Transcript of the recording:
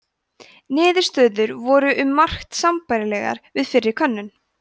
niðurstöður voru um margt sambærilegar við fyrri könnun